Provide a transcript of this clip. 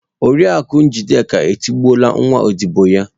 Oriakụ Njideka etigbuola nwa ọdibo ya.